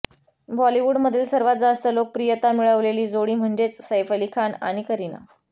बॉलिवूडमधील सर्वात जास्त लोकप्रियता मिळवलेली जोडी म्हणजेच सैफ अली खान आणि करीना